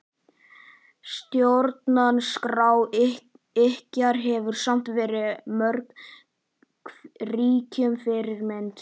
Stjórnarskrá ykkar hefur samt verið mörgum ríkjum fyrirmynd.